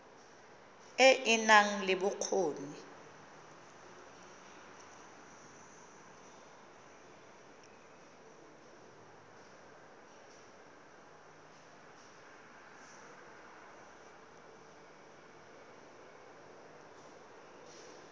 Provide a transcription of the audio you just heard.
e e nang le bokgoni